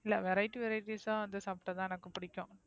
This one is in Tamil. இல்ல Variet varieties ஆ அத சாப்டாதான் எனக்கு பிடிக்கும்.